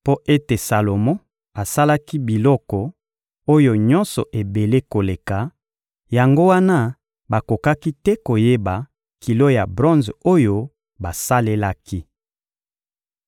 Mpo ete Salomo asalaki biloko oyo nyonso ebele koleka, yango wana bakokaki te koyeba kilo ya bronze oyo basalelaki.